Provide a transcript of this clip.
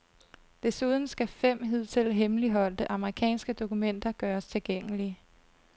Desuden skal fem hidtil hemmeligholdte amerikanske dokumenter gøres tilgængelige.